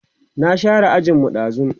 na share ajin mu ɗazun